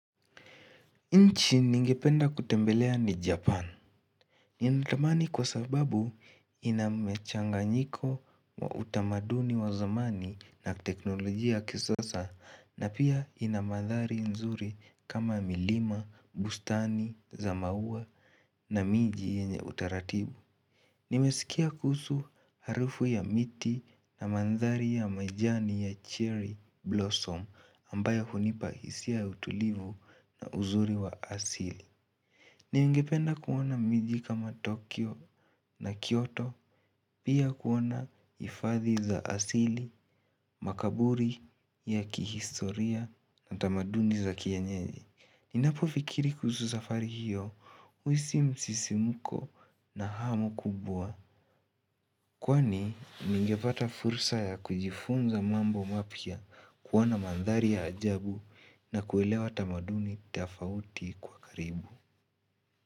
Nchi ningependa kutembelea ni Japan. Ninatamani kwa sababu inamchanganyiko wa utamaduni wa zamani na teknolojia ya kisasa na pia inamadhari nzuri kama milima, bustani za maua na miji yenye utaratibu. Nimesikia kuhusu harufu ya miti na mandhari ya majani ya cherry blossom ambayo hunipa hisia ya utulivu na uzuri wa asili. Ningependa kuona miji kama Tokyo na Kyoto, pia kuona hifadhi za asili, makaburi ya kihistoria na utamaduni za kienyeji. Ninapofikiri kuhusu safari hiyo, uhisi msisimuko na hamu kubwa. Kwani, ningepata fursa ya kujifunza mambo mapya kuona mandhari ya ajabu na kuelewa tamaduni tafauti kwa karibu.